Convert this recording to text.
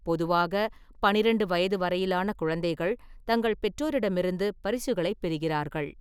பொதுவாக, பன்னிரெண்டு வயது வரையிலான குழந்தைகள் தங்கள் பெற்றோரிடமிருந்து பரிசுகளைப் பெறுகிறார்கள்.